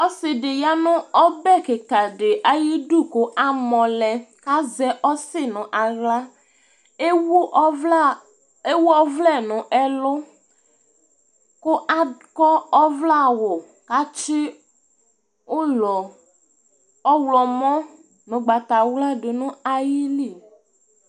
Ɔsi di ua nu ɔbɛ kika di ayidu ku amɔ lɛ Ka zɛ ɔsi nu aɣla Éwu ɔʋlɛ nu ɛlu ku akɔ aʋlɛ awu katsuɩ ulɔ ɔwlɔ mɔ nu ugbata wlaa du nu ayili